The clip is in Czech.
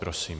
Prosím.